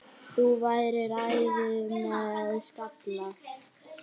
Þú værir æði með skalla!